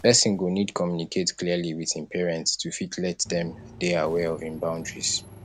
person go need to communicate clearly with im parents to fit let dem dey aware of im boundaries